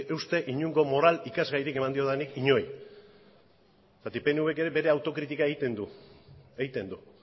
uste inongo moral ikasgairik eman diodanik inori zergatik pnvk ere bere autokritika egiten du egiten du